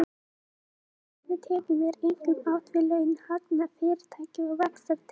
Með tekjum er einkum átt við laun, hagnað fyrirtækja og vaxtatekjur.